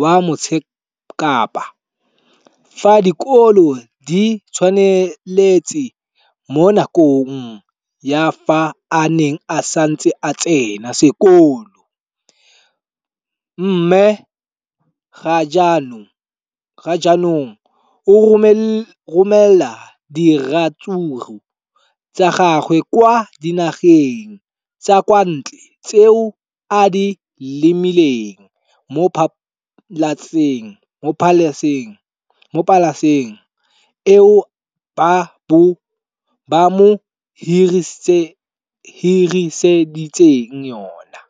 wa Motsekapa fa dikolo di tswaletse, mo nakong ya fa a ne a santse a tsena sekolo, mme ga jaanong o romela diratsuru tsa gagwe kwa dinageng tsa kwa ntle tseo a di lemileng mo polaseng eo ba mo hiriseditseng yona.